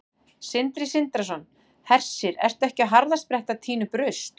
Sindri Sindrason: Hersir, ertu ekki á harðaspretti að tína upp rusl?